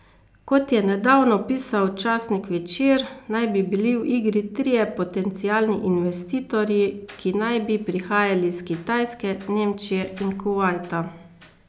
Kot je nedavno pisal časnik Večer, naj bi bili v igri trije potencialni investitorji, ki naj bi prihajali iz Kitajske, Nemčije in Kuvajta.